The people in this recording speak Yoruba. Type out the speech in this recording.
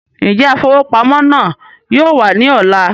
Njẹ afowópamọ́ náà yóò wà ní ọ̀la?